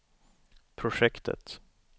projektet